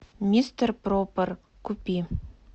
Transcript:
мистер пропер купи